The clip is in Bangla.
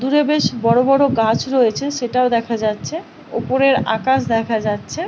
দূরে বেশ বড় বড় গাছ রয়েছে সেটাও দেখা যাচ্ছে ওপরের আকাশ দেখা যাচ্ছে।